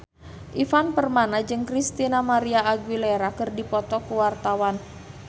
Ivan Permana jeung Christina María Aguilera keur dipoto ku wartawan